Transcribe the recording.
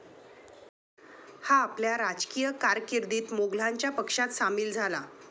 हा आपल्या राजकीय कारकिर्दीत मोघलांच्या पक्षात सामील झाला.